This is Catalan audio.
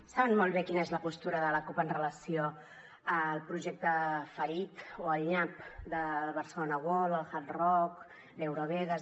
saben molt bé quina és la postura de la cup en relació amb el projecte fallit o al nyap de barcelona world el hard rock l’eurovegas